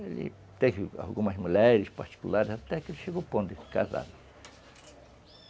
Ele teve algumas mulheres particulares, até que ele chegou ao ponto de se casar.